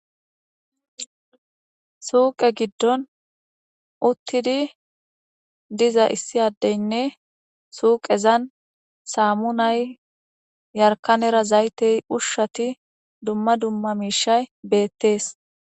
Suuqe giddon uttidi diza issi addeynne suuqezan saamunay yarkanera zaytey ushshati dumma dumma miishay beettees.